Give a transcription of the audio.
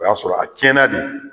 O y'a sɔrɔ a tiɲɛna de.